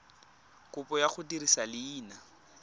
kopo ya go dirisa leina